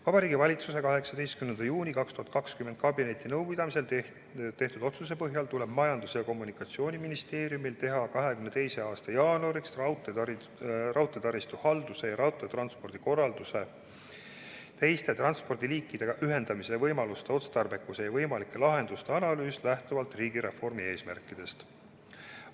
Vabariigi Valitsuse 18. juuni 2020 kabinetinõupidamisel tehtud otsuse põhjal tuleb Majandus- ja Kommunikatsiooniministeeriumil teha 2022. aasta jaanuariks raudteetaristu halduse ja raudteetranspordi korralduse teiste transpordiliikide korraldusega ühendamise võimaluste otstarbekuse ja võimalike lahenduste analüüs, lähtuvalt riigireformi eesmärkidest.